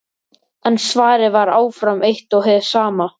En svarið var áfram eitt og hið sama.